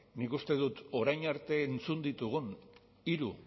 nik uste dut orain arte izan ditugun hiru